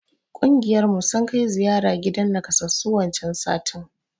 Ƙungiyar mu sun kai ziyara gidan nakassasu wancan satin.